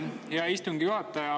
Aitäh, hea istungi juhataja!